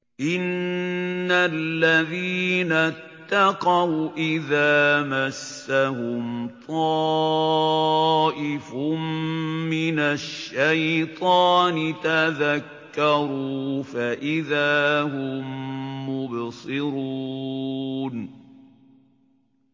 إِنَّ الَّذِينَ اتَّقَوْا إِذَا مَسَّهُمْ طَائِفٌ مِّنَ الشَّيْطَانِ تَذَكَّرُوا فَإِذَا هُم مُّبْصِرُونَ